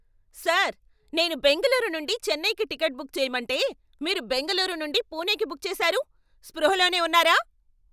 Sir! నేను బెంగుళూరు నుండి చెన్నైకి టికెట్ బుక్ చేయమంటే మీరు బెంగళూరు నుండి పూణేకి బుక్ చేసారు. స్పృహలోనే ఉన్నారా?